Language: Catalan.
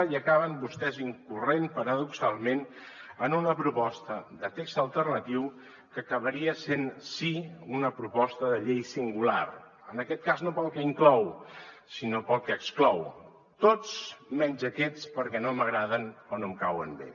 i acaben vostès incorrent paradoxalment en una proposta de text alternatiu que acabaria sent sí una proposta de llei singular en aquest cas no pel que inclou sinó pel que exclou tots menys aquests perquè no m’agraden o no em cauen bé